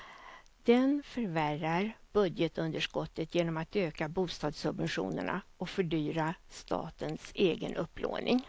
Den förvärrar budgetunderskottet genom att öka bostadssubventionerna och fördyra statens egen upplåning.